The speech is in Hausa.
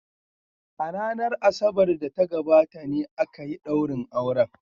A ranar Asabar da ta gabata ne aka yi daurin auren.